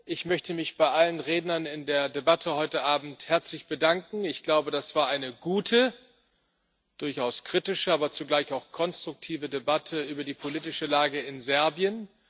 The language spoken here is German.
Ich möchte mich bei allen Rednern in der Debatte heute Abend herzlich bedanken. Ich glaube, das war eine gute, durchaus kritische, aber zugleich auch konstruktive Debatte über die politische Lage in Serbien.